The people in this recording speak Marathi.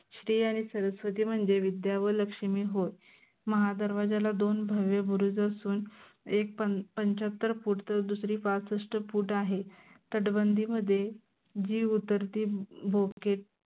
श्री आणि सरस्वती म्हनजे विद्या व लक्ष्मी होय. महादरवाज्याला दोन भव्य बुरुज असून एक पंच्याहत्तर फिट तर दुसरी पासष्ठ फूट आहे. तटबंदीमधे जी उतरती भोके